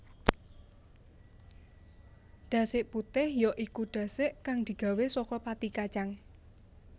Dasik putih ya iku dasik kang digawé saka pati kacang